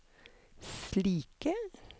slike